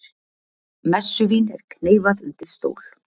Messuvín er kneyfað undir stól